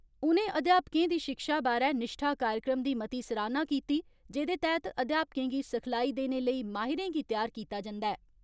उनें अध्यापकें दी शिक्षा बारै निश्ठा कार्यक्रम दी मती सराहना कीती जेदे तैहत अध्यापकें गी सिखलाई देने लेई माहिरें गी त्यार कीता जन्दा ऐ।